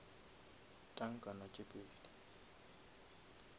tankana tše pedi